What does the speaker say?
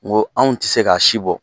Wo anw ti se k'a si bɔ.